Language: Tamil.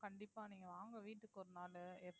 கண்டிப்பா நீங்க வாங்க வீட்டுக்கு ஒரு நாளு